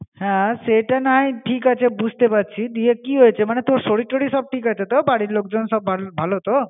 হ্যাঁ সেটা না হয় ঠিক আছে বুঝতে পারছি. দিয়ে কী হয়েছে মনে তোর শরীর-টরির সব ঠিক আছে তো, বাড়ির লোকজন সব ভালো তো.